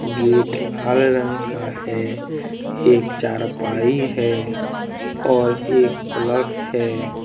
Gate लाल रंग का है एक चारपाई है और एक प्लग है।